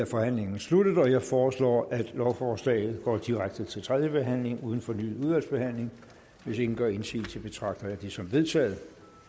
forhandlingen sluttet jeg foreslår at lovforslaget går direkte til tredje behandling uden fornyet udvalgsbehandling hvis ingen gør indsigelse betragter jeg det som vedtaget